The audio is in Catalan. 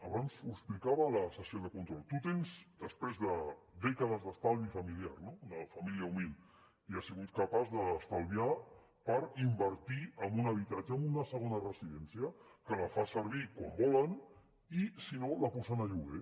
abans ho explicava a la sessió de control tu tens després de dècades d’estalvi familiar no una família humil i has sigut capaç d’estalviar per invertir en un habitatge en una segona residència que la fan servir quan volen i si no la posen a lloguer